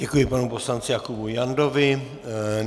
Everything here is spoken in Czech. Děkuji panu poslanci Jakubu Jandovi.